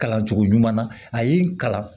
Kalan cogo ɲuman na a ye n kalan